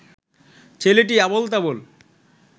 ছেলেটি আবোল তাবোল